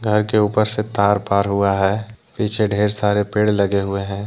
घर के ऊपर से तार पार हुआ है पीछे ढेर सारे पेड़ लगे हुए हैं ।